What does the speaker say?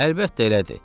Əlbəttə elədir.